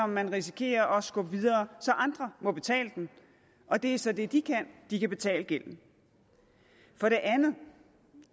man risikerer at skubbe videre så andre må betale den og det er så det de kan de kan betale gælden for det andet